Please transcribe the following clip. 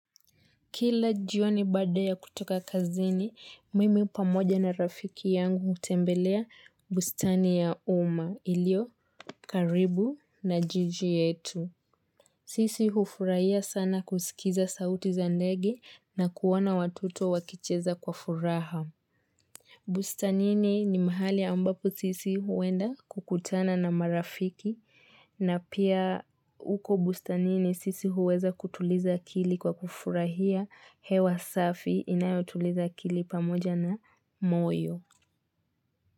Kila jioni baada ya kutoka kazini, mimi pamoja na rafiki yangu hutembelea bustani ya umma ilio karibu na jiji yetu. Sisi hufurahia sana kusikiza sauti za ndege na kuona watoto wakicheza kwa furaha. Bustani ni mahali ambapo sisi huenda kukutana na marafiki na pia uko bustani nini sisi huweza kutuliza akili kwa kufurahia hewa safi inayotuliza akili pamoja na moyo.